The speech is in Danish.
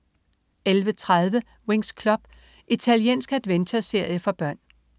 11.30 Winx Club. Italiensk adventure-serie for børn